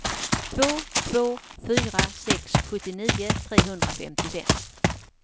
två två fyra sex sjuttionio trehundrafemtiofem